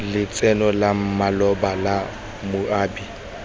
lotseno la maloba la moabi